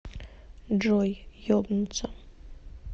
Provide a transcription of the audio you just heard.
джой ебнуться